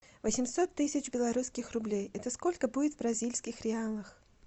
восемьсот тысяч белорусских рублей это сколько будет в бразильских реалах